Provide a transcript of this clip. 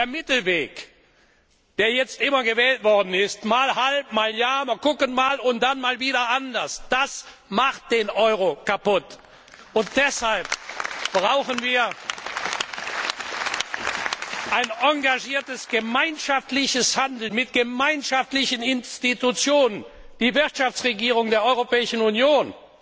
Der Mittelweg, der jetzt immer gewählt worden ist mal halb, mal ja, mal sehen, und dann mal wieder anders macht den Euro kaputt! Und deshalb brauchen wir ein engagiertes gemeinschaftliches Handeln mit gemeinschaftlichen Institutionen die Wirtschaftsregierung der Europäischen Union,